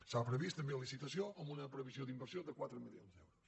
s’ha previst també licitació amb una previsió d’inversió de quatre milions d’euros